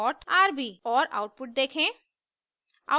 और आउटपुट देखें